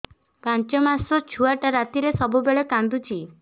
ପାଞ୍ଚ ମାସ ଛୁଆଟା ରାତିରେ ସବୁବେଳେ କାନ୍ଦୁଚି